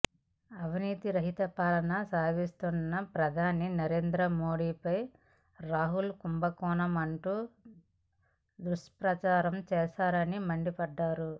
అవినీతి రహిత పాలన సాగిస్తున్న ప్రధాని నరేంద్ర మోదీపై రాఫెల్ కుంభకోణమంటూ దుష్ప్రచారం చేశారని మండిపడ్డారు